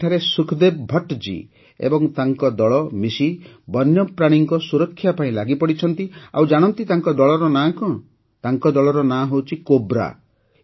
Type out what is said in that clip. ଏଠାରେ ସୁଖଦେବ ଭଟ୍ଟ ଜୀ ଓ ତାଙ୍କ ଦଳ ମିଶି ବନ୍ୟପ୍ରାଣୀଙ୍କ ସୁରକ୍ଷା ପାଇଁ ଲାଗିପଡ଼ିଛନ୍ତି ଆଉ ଜାଣନ୍ତି ତାଙ୍କ ଦଳର ନାମ କଣ ତାଙ୍କ ଦଳର ନାମ ହେଉଛି କୋବ୍ରା